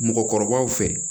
Mɔgɔkɔrɔbaw fɛ